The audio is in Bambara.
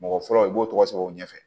Mɔgɔ fɔlɔ i b'o tɔgɔ sɛbɛn o ɲɛfɛ